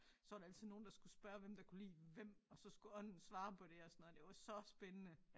Så var der altid nogen der skulle spørge hvem der kunne lide hvem og så skulle ånden svare på det og sådan noget det var så spændende